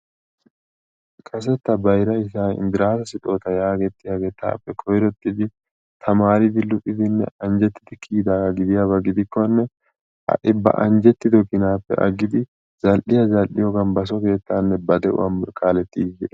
kase ta bayra ishaa gidiyagee indiraasi anjetidi kiyidaage gidiyaba gidikkone ha'i zal'iya zal'iyoogan basoonne ba de'uwa kaaletiidi de'ees.